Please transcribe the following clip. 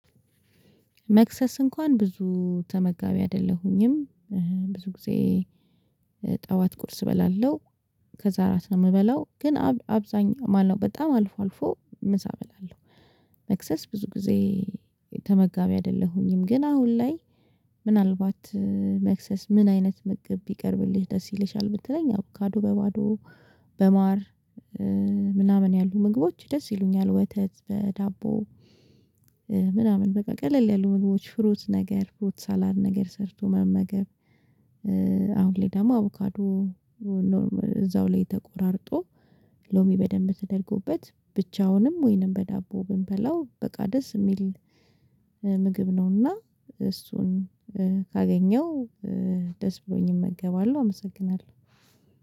መክሰስ እንኳን ብዙ ተመጋቢ አይደለሁኝም። ብዙ ጊዜ ጠዋት ቁርስ እበላለሁ። ከዛ አራት ነው የምበላው ግን አብዛኛው ማነው በጣም አልፎ አልፎ ምሳ እበላለሁ። መክሰስ ብዙ ጊዜ ተመጋቢ አይደለሁኝም ግን አሁን ላይ። ምናልባት መክሰስ ምን አይነት ምግብ ቢቀርብልህ ደስ ይልሻል? ብትለኝ ያው አቮካዶ በባዶ በማር ምናምን ያሉ ምግቦች ደስ ይሉኛል ወተት በዳቦ ምናምን በቃ ቀለል ያሉ ምግቦች ፍሩት ነገር ፍሩት ሳላድ ነገር ሰርቶ መመገብ። አሁን ላይ ደግሞ አቮካዶ እዛው ላይ ተቆራርጦ ሎሚ በደንብ ተደርጎበት ብቻዉንም ወይንም በዳቦ ብንበላው በቃ ደስ የሚል ምግብ ነዉና። እሱን ካገኘው ደስ ብሎኝ እመገባለሁ። አመሰግናለሁ